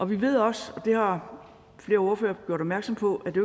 vi ved også og det har flere ordførere gjort opmærksom på at det